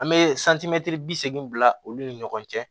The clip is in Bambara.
an be santimɛtiri bisegin bila olu ni ɲɔgɔn cɛ